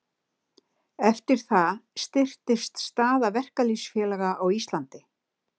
Eftir það styrktist staða verkalýðsfélaga á Íslandi.